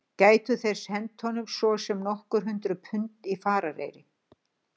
Gætu þeir sent honum svo sem nokkur hundruð pund í farareyri?